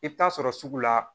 I bɛ taa sɔrɔ sugu la